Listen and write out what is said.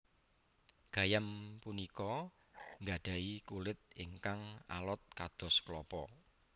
Gayam punika gadhahi kulit ingkang alot kados klapa